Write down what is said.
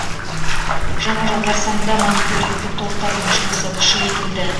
жаңа жыл қарсаңында мониторингтік топтардың жұмысы күшейтіледі